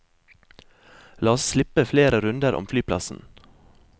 La oss slippe flere runder om flyplassen.